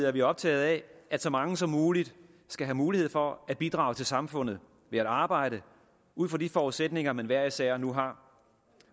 er vi optaget af at så mange som muligt skal have mulighed for at bidrage til samfundet ved at arbejde ud fra de forudsætninger man hver især nu har